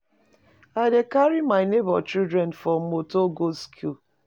I dey carry my nebor children for motor go skool.